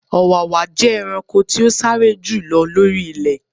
Ọ̀wàwà jẹ́ ẹranko tí o sáré jù lọ lori ilẹ.